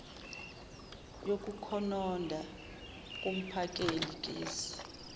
yokukhononda kumphakeli gesi